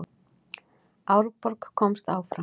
Árborg komst áfram